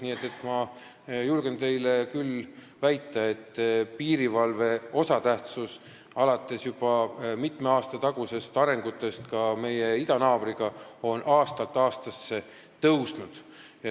Nii et ma julgen teile küll väita, et piirivalve osatähtsus, alates juba mitme aasta tagustest arengutest suhetes ka meie idanaabriga, on aastast aastasse suurenenud.